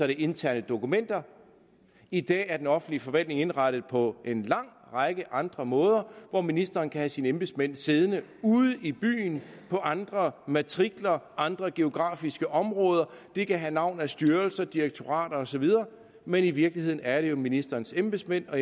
interne dokumenter i dag er den offentlige forvaltning indrettet på en lang række andre måder hvor ministeren kan have sine embedsmænd siddende ude i byen på andre matrikler andre geografiske områder det kan have navn af styrelser direktorater osv men i virkeligheden er det jo ministerens embedsmænd og